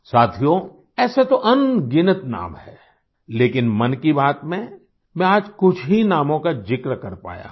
साथियो ऐसे तो अनगिनत नाम हैं लेकिन मन की बात में मैं आज कुछ ही नामों का जिक्र कर पाया हूँ